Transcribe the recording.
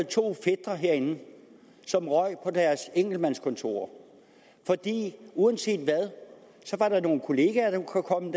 to fætre herinde som røg på deres enkeltmandskontorer uanset hvad var der nogle kolleger der kunne komme